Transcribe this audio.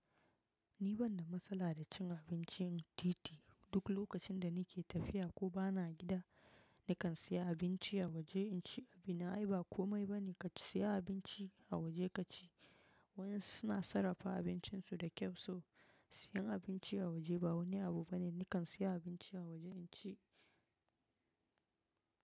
Ni ban da matsala da cin abinci in titi. Duk lokacin da nake tafiya ko bana gida, nakan sayi abinci a waje in ci. Abin aayi ba komai bane ka siya abinci, a waje ka ci. Wayan suna sarrafa abincinsu da kyau so, siyan abinci a waje ba wani abu bane. Nakan siya abinci a waje in ci.